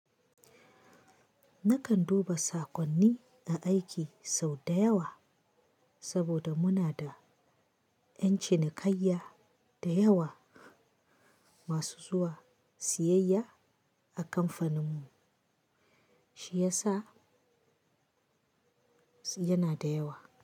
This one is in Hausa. Nakan duba saƙonni na aiki sau da yawa saboda muna da ƴan cinikayya da yawa masu zuwa siyayya a kamfaninmu, shi yasa yana da yawa.